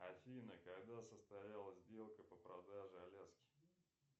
афина когда состоялась сделка по продаже аляски